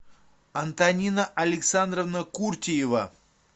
антонина александровна куртиева